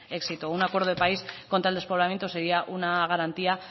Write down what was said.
éxito un acuerdo de país contra el despoblamiento sería una garantía